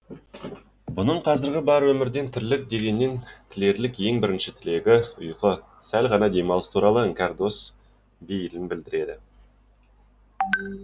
бұның қазіргі бар өмірден тірлік дегеннен тілерлік ең бірінші тілегі ұйқы сәл ғана демалыс туралы іңкәр дос бейілін білдіреді